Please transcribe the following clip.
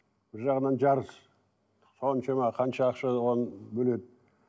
бір жағынан жарыс соншама қанша ақша оған бөледі